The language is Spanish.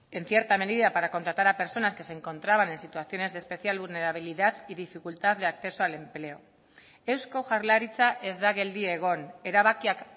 en cierta medida para contratar a personas que se encontraban en situaciones de especial vulnerabilidad y dificultad de acceso al empleo eusko jaurlaritza ez da geldi egon erabakiak